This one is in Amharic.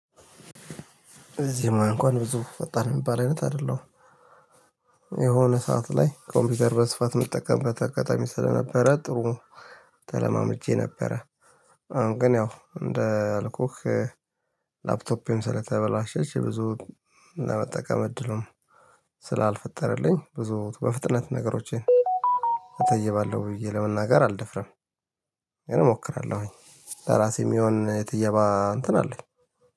በዚህ ሙያ እንኳን ብዙ ፈጣን የሚባል አይነት አይደለሁም የሆነ ሰዓት ላይ ኮምፒውተር በስፋት መጠቀም በአጋጣሚ ስለነበረ ጥሩ ተለማምጄ ነበረ። አሁን ግን ያው እንደ አልኩክ ላፕቶፔም ስለተበላሸች ብዙ ለመጠቀም እድሉን ስላልፈጠረልኝ ብዙ በፍጥነት ነገሮቼን አተይባለሁ ብዬ ለመናገር አልደፍርም። ግን እሞክራለሁኝ ለራሴ የሚሆን የትየባ እንትን አለኝ።